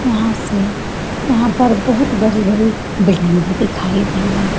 यहाँ से यहाँ पर बहुत बड़ी-बड़ी बिल्डिंग भी दिखाई दे रहे है।